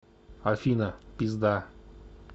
афина пизда